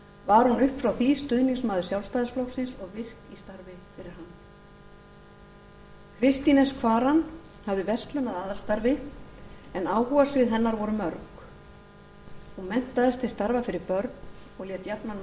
var hún upp frá því stuðningsmaður sjálfstæðisflokksins og virk í starfi fyrir hann kristín s kvaran hafði verslun að aðalstarfi en áhugasvið hennar voru mörg hún menntaðist til starfa fyrir börn og lét jafnan